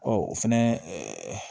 Ɔ o fɛnɛ